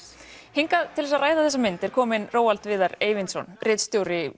hingað til þess að ræða þessa mynd er kominn Viðar Eyvindsson